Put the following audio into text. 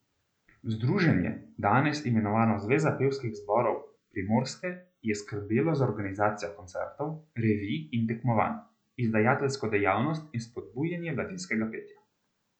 Združenje, danes imenovano Zveza pevskih zborov Primorske, je skrbelo za organizacijo koncertov, revij in tekmovanj, izdajateljsko dejavnost in spodbujanje mladinskega petja.